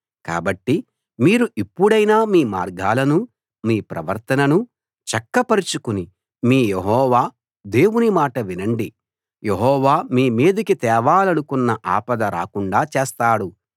కాబట్టి మీరు ఇప్పుడైనా మీ మార్గాలనూ మీ ప్రవర్తననూ చక్కపరచుకుని మీ యెహోవా దేవుని మాట వినండి యెహోవా మీమీదికి తేవాలనుకున్న ఆపద రాకుండా చేస్తాడు